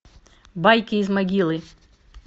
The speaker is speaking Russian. байки из могилы